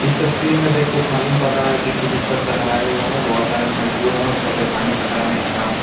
इस तस्वीर में देखो मालूम पड़ रहा है कि किसी छत का ढलाई हुआ है बहुत सारे मजदूर हैं और छत में पानी पटाने का काम --